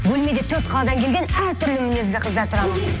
бөлмеде төрт қаладан келген әр түрлі мінезді қыздар тұрамыз